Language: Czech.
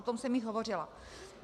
O tom jsem již hovořila.